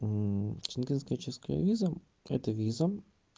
шенгенская чешская виза это виза